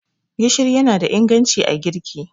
gishiri yana da inganci a girki